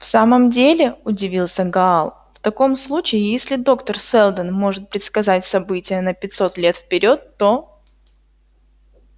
в самом деле удивился гаал в таком случае если доктор сэлдон может предсказать события на пятьсот лет вперёд то